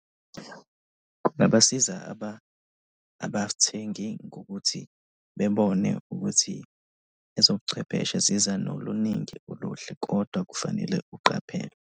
Kungabasiza abathengi ngokuthi bebone ukuthi ezobuchwepheshe ziza noluningi uluhle kodwa kufanele uqaphele.